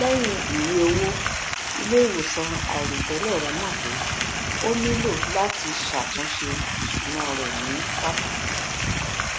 lẹyìn ìwéowó iléiwòsàn àìròtẹlẹ rẹ mọ pé ó nílò láti ṣàtúnṣe ìṣúná rẹ ní pàtàkì